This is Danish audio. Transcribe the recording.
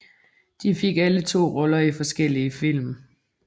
De fik alle to roller i forskellige film